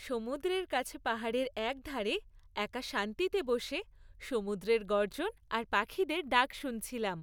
সমুদ্রের কাছে পাহাড়ের একধারে একা শান্তিতে বসে সমুদ্রের গর্জন আর পাখিদের ডাক শুনছিলাম।